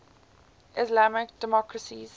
islamic democracies